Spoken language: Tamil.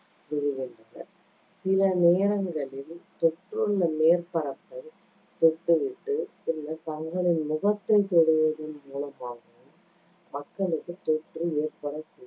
விழுகின்றன. சில நேரங்களில், தொற்றுள்ள மேற்பரப்பைத் தொட்டுவிட்டு, பின்னர் தங்களின் முகத்தைத் தொடுவதன் மூலமாகவும் மக்களுக்குத் தொற்று ஏற்படக்~